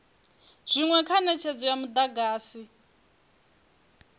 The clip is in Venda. zwinwe kha netshedzo ya mudagasi